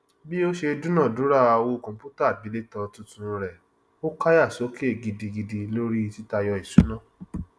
bí ó ṣe dúnàádúrà owó kọmpútà àgbélétan tuntun rẹ ó káyà sókè gidigidi lórí títayọ ìṣúná